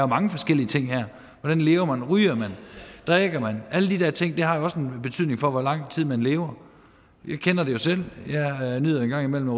mange forskellige ting her hvordan lever man ryger man drikker man alle de der ting har jo også en betydning for hvor lang tid man lever jeg kender det jo selv jeg nyder en gang imellem at